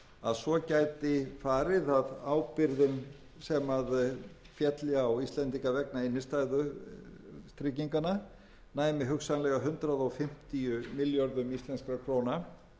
að svo gæti farið að ábyrgðin sem félli á íslendinga vegna innstæðutrygginganna næmi hugsanlega hundrað fimmtíu milljörðum íslenskum krónum en sagði